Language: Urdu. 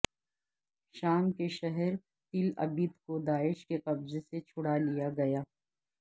شام کے شہر تل عبید کو داعش کے قبضے سے چھڑا لیا گیا